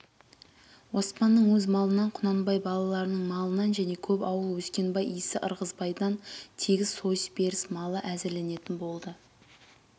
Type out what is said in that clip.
оспанның өз малынан құнанбай балаларының малынан және көп ауыл өскенбай исі ырғызбайдан тегіс сойыс беріс малы әзірленетін болды